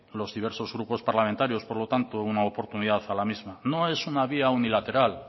los diversos grupos parlamentarios por lo tanto una oportunidad a la misma no es una vía unilateral